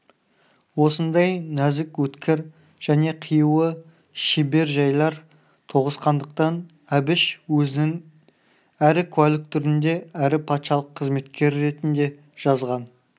осындай нәзік өткір және қиюы шебер жайлар тоғысқандықтан әбіш өзінің әрі куәлік түрінде әрі патшалық қызметкері ретінде жазған